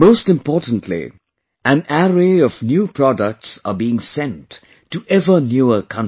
Most importantly, an array of new products are being sent to ever newer countries